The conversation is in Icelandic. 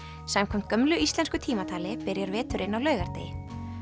samkvæmt gömlu íslensku tímatali byrjar veturinn á laugardegi